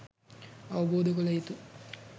අවබෝධ කළ යුතු